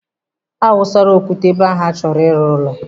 A wụsala okwute ebe ahụ achọrọ iru ụlọ